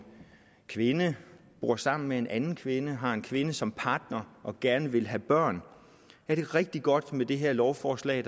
kvinde bor sammen med en anden kvinde altså har en kvinde som partner og gerne vil have børn er det rigtig godt med det her lovforslag